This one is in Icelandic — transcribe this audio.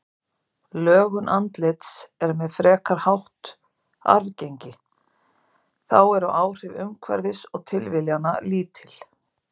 Lögun andlits er með frekar hátt arfgengi, þá eru áhrif umhverfis og tilviljana lítil.